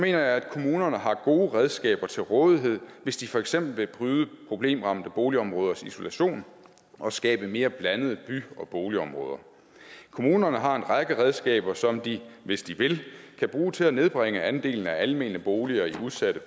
jeg at kommunerne har gode redskaber til rådighed hvis de for eksempel vil bryde problemramte boligområders isolation og skabe mere blandede by og boligområder kommunerne har en række redskaber som de hvis de vil kan bruge til at nedbringe andelen af almene boliger i udsatte